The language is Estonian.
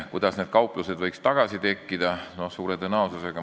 Kuidas need kauplused võiksid uuesti tekkida?